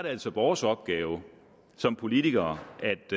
altså vores opgave som politikere